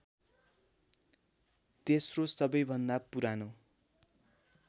तेस्रो सबैभन्दा पुरानो